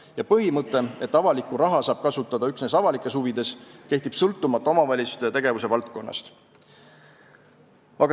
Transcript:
Ja põhimõte, et avalikku raha tohib kasutada üksnes avalikes huvides, kehtib sõltumata omavalitsusest ja tegevuse valdkonnast.